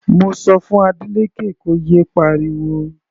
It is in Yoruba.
Mo sọ fún Adeleke kó yé pariwo.